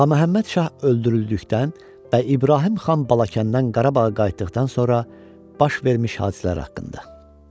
Ağaməhəmməd Şah öldürüldükdən və İbrahim xan Balakəndən Qarabağa qayıtdıqdan sonra baş vermiş hadisələr haqqında.